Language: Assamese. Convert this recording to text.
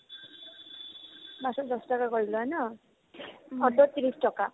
বাছত দছ টকাকৈ লই ন অ'টোত ত্ৰিশ টকা